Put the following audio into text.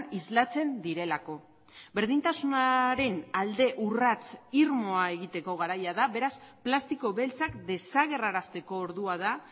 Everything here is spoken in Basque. islatzen direlako berdintasunaren alde urrats irmoa egiteko garaia da beraz plastiko beltzak desagerrarazteko ordua da